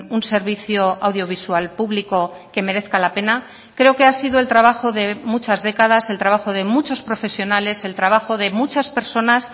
un servicio audiovisual público que merezca la pena creo que ha sido el trabajo de muchas décadas el trabajo de muchos profesionales el trabajo de muchas personas